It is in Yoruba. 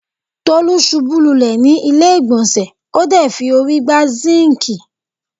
Tolú ṣubú lulẹ̀ ni ilé-ìgbọ̀nsẹ̀ ,o de fi órí gbá sinkii.